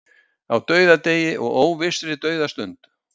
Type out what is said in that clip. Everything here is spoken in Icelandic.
Á dauðadegi og óvissri dauðastund.